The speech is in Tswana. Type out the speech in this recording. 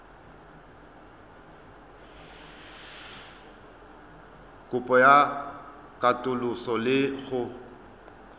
kopo ya katoloso le go